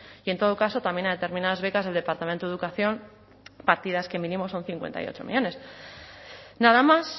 y en todo caso también a determinadas becas del departamento de educación partidas que mínimo son cincuenta y ocho millónes nada más